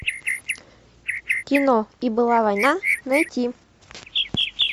кино и была война найти